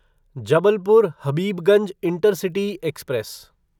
Jabalpur Habibganj intercity express